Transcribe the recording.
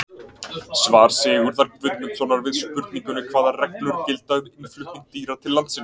Svar Sigurðar Guðmundssonar við spurningunni Hvaða reglur gilda um innflutning dýra til landsins?